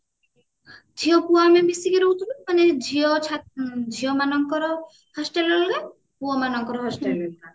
ଝିଅ ପୁଅ ଆମେ ମିସିକି ରହୁଥିଲୁ ମାନେ ଝିଅ ଝିଅ ମାନଙ୍କର hostel ରେ ରହିବେ ପୁଅମାନଙ୍କର hostel ରେ ରହିବ